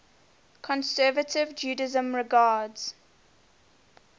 conservative judaism regards